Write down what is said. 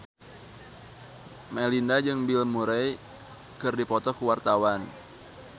Melinda jeung Bill Murray keur dipoto ku wartawan